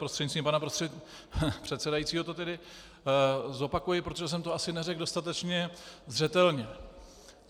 Prostřednictvím pana předsedajícího to tedy zopakuji, protože jsem to asi neřekl dostatečně zřetelně.